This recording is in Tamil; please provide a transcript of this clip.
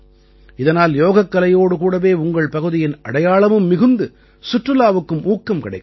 இதனால் யோகக்கலையோடு கூடவே உங்கள் பகுதியின் அடையாளமும் மிகுந்து சுற்றுலாவுக்கும் ஊக்கம் கிடைக்கும்